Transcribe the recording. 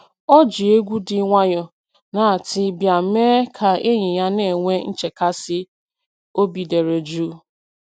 O ji egwu dị nwayọọ na tii bịa mee ka enyi ya na-enwe nchekasị obi dere jụụ